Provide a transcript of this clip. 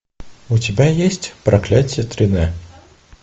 у тебя есть проклятье три д